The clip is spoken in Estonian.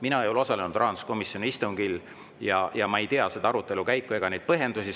Mina ei ole osalenud rahanduskomisjoni istungil, ma ei tea seda arutelukäiku ega neid põhjendusi.